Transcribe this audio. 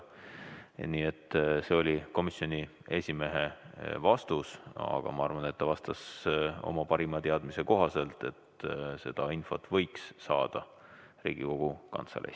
Nii et see oli komisjoni esimehe vastus, aga ma arvan, et ta vastas oma parima teadmise kohaselt, et seda infot võiks saada Riigikogu Kantseleist.